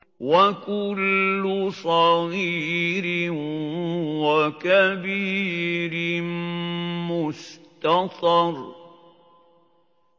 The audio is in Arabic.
وَكُلُّ صَغِيرٍ وَكَبِيرٍ مُّسْتَطَرٌ